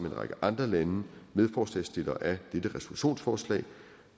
en række andre lande medforslagsstiller af dette resolutionsforslag